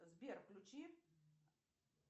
сбер включи